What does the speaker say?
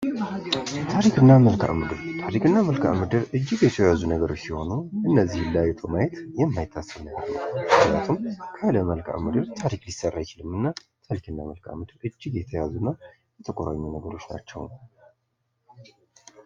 ታሪክና መልካም ምድር ታሪክና መልካም ምድር እጅግ የተያዙ ነገሮችእነዚህ ማየት ይመቻል ነው።